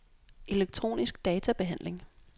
elektronisk databehandling